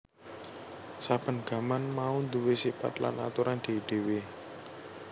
Saben gaman mau duwé sipat lan aturan dhéwé dhéwé